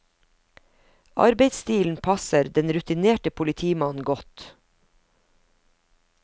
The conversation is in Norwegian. Arbeidsstilen passer den rutinerte politimannen godt.